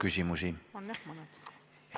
Teile on ka küsimusi.